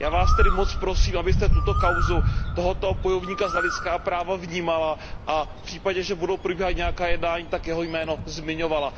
Já Vás tedy moc prosím, abyste tuto kauzu tohoto bojovníka za lidská práva vnímala a v případě, že budou probíhat nějaká jednání, tak jeho jméno zmiňovala.